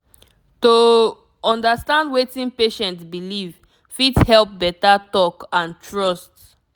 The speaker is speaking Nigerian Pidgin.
to understand wetin patient believe fit help better talk and trust.